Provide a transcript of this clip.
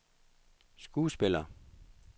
skuespillere